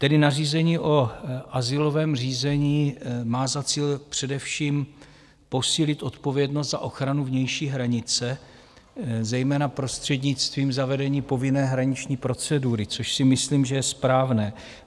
Tedy nařízení o azylovém řízení má za cíl především posílit odpovědnost za ochranu vnější hranice, zejména prostřednictvím zavedení povinné hraniční procedury, což si myslím, že je správné.